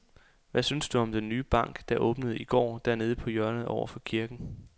Hvad synes du om den nye bank, der åbnede i går dernede på hjørnet over for kirken?